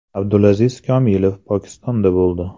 Abdulaziz Komilov Pokistonda bo‘ldi.